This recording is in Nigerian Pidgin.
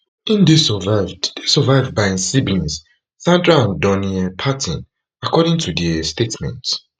im dey survived dey survived by im siblings sandra and donnie um parton according to di um statement